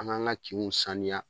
An b'an ŋa kinw saniya